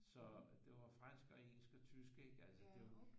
Så det var fransk og engelsk og tysk ik altså det er jo